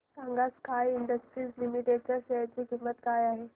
सांगा Sky Industries Limited च्या share ची किंमत काय आहे